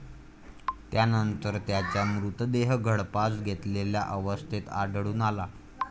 त्यानंतर त्याचा मृतदेह गळफास घेतलेल्या अवस्थेत आढळून आला.